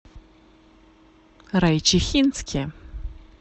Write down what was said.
райчихинске